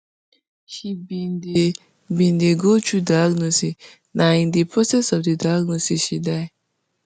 she bin dey bin dey go through diagnosis na in di process of di diagnosis she die